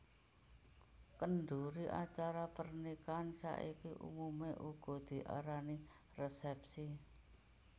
Kendhuri acara pernikahan saiki umumé uga diarani resèpsi